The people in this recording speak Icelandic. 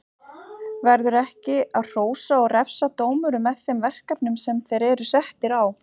Verður ekki að hrósa og refsa dómurum með þeim verkefnum sem þeir eru settir á?